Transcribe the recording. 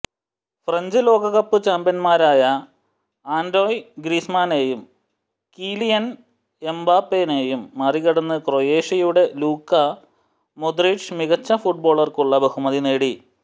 French ലോകകപ്പ് ചാമ്പ്യന്മാരായ Antoine ഗ്രീസ്മാനെയും കീലിയന് എംബാപ്പെയെയും മറികടന്ന് ക്രൊയേഷ്യയുടെ ലൂക്ക മോദ്റിച് മികച്ച ഫുട്ബോളര്ക്കുള്ള ബഹുമതി നേടി